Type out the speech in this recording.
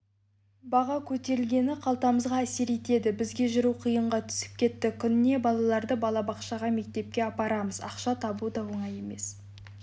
баға көтерілгені қалтамызға әсер етеді бізге жүру қиынға түсіп кетті күніге балаларды балабақшаға мектепке апарамыз ақша табу да оңай емес